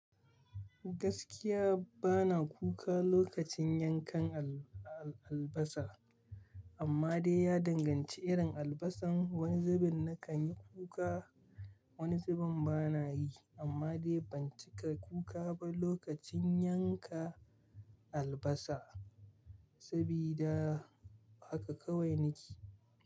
Gaskiya bana kuka lokacin yankan al-albasa amma dai ya danganci irin albasan. Wani zubin na kan yi kuka, wani zubin bana yi amma dai ban cika kuka ba lokacin yanka albasa sabida haka kawai nake.